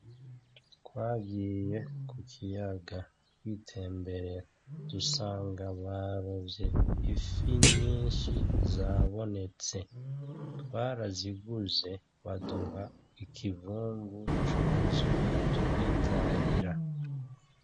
Twagiye ku kiyaga kwitemberera dusanga barovye ifi nyinshi zabonetse, twaraziguze baduha ikivumvu cuzuye turitahira.